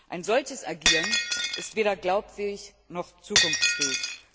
Ein solches Agieren ist weder glaubwürdig noch zukunftsfähig.